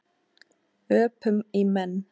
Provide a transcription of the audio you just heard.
Öpum í menn.